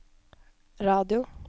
radio